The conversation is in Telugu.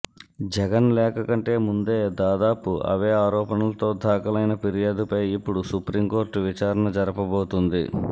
జగన్ లేఖ కంటే ముందే దాదాపు అవే ఆరోపణలతో దాఖలైన ఫిర్యాదుపై ఇప్పుడు సుప్రీంకోర్టు విచారణ జరపబోతోంది